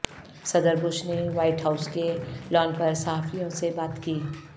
صدر بش نے White House کے لان پر صحافیوں سے بات کی